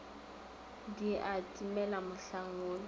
di a timela mohlang wola